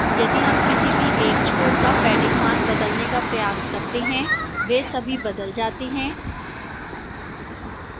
यदि हम किसी भी एक छोर का padding मान बदलने का प्रयास करते हैं वह सभी बदल जाते हैं